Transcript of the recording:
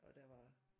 Og der var